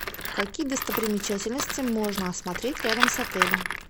какие достопримечательности можно осмотреть рядом с отелем